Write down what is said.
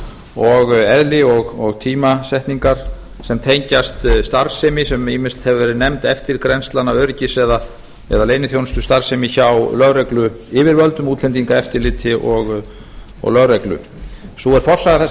og eðli og tímasetningar sem tengjast starfsemi sem ýmis hefur verið nefnd eftirgrennslana öryggis eða leyniþjónustustarfsemi hjá lögregluyfirvöldum útlendingaeftirliti og lögreglu sú er forsaga þessa